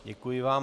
Děkuji vám.